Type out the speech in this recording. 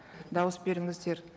дауыс беріңіздер